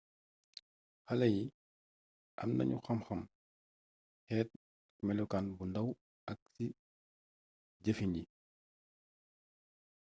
xaléyi amnañu xam xam xeet ak mélokaan bu ndaw ak ci jëfin yi